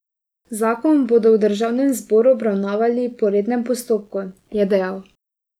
Zakon bodo v državnem zboru obravnavali po rednem postopku, je dejal.